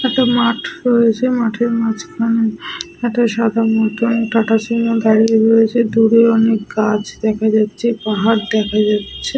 একটা মাঠ রয়েছে। মাঠের মাঝখানে একটা সাদা মতন টাটা সুমো দাঁড়িয়ে রয়েছে। দূরে অনেক গাছ দেখা যাচ্ছে পাহাড় দেখা যাচ্ছে।